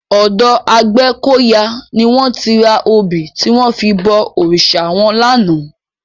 Òdò Agbekoya ni wòn ti rá óbi tiwòn fi bò órisá wòn làná